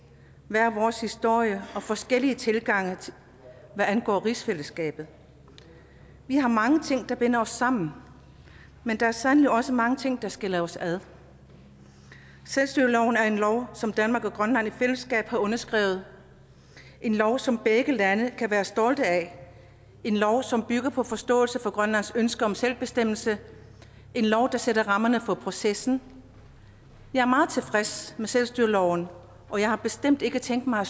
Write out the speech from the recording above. hver vores historie og forskellige tilgange hvad angår rigsfællesskabet vi har mange ting der binder os sammen men der er sandelig også mange ting der skiller os ad selvstyreloven er en lov som danmark og grønland i fællesskab har underskrevet en lov som begge lande kan være stolte af en lov som bygger på forståelse for grønlands ønske om selvbestemmelse en lov der sætter rammerne for processen jeg er meget tilfreds med selvstyreloven og jeg har bestemt ikke tænkt mig at